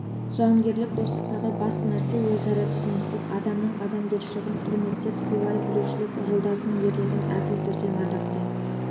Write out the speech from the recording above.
жауынгерлік достықтағы басты нәрсе өзара түсіністік адамның адамгершілігін құрметтеп сыйлай білушілік жолдасыңның ерлігін әділ түрде мадақтай